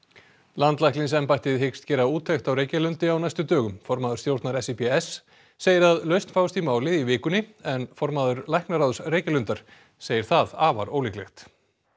landlæknisembættið hyggst gera úttekt á Reykjalundi á næstu dögum formaður stjórnar SÍBS segir að lausn fáist í málið í vikunni en formaður læknaráðs Reykjalundar segir það afar ólíklegt